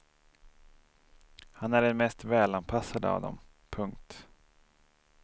Han är den mest välanpassade av dem. punkt